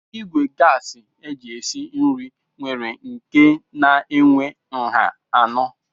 Ìgwè gasi eji esi nri nwere nke na-enwe nha anọ.